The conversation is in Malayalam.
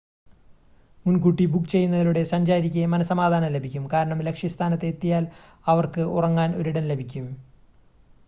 മുൻകൂട്ടി ബുക്ക് ചെയ്യുന്നതിലൂടെ സഞ്ചാരിക്ക് മനസ്സമാധാനം ലഭിക്കും കാരണം ലക്ഷ്യസ്ഥാനത്ത് എത്തിയാൽ അവർക്ക് ഉറങ്ങാൻ ഒരിടം ലഭിക്കും